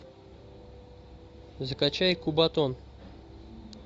закачай кубатон